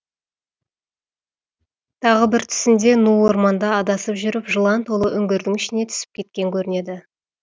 тағы бір түсінде ну орманда адасып жүріп жылан толы үңгірдің ішіне түсіп кеткен көрінеді